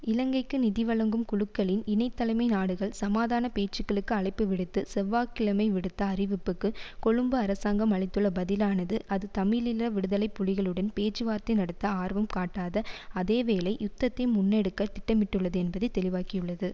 இலங்கைக்கு நிதி வழங்கும் குழுக்களின் இணை தலைமை நாடுகள் சமாதான பேச்சுக்களுக்கு அழைப்புவிடுத்து செவ்வாக் கிழமை விடுத்த அறிவிப்புக்கு கொழும்பு அரசாங்கம் அளித்துள்ள பதிலானது அது தமிழீழ விடுதலை புலிகளுடன் பேச்சுவார்த்தை நடத்த ஆர்வம் காட்டாத அதே வேளை யுத்தத்தை முன்னெடுக்க திட்டமிட்டுள்ளது என்பதை தெளிவாக்கியுள்ளது